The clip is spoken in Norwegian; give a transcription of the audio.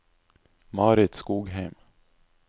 Marit Skogheim